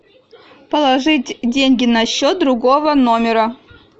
положить деньги на счет другого номера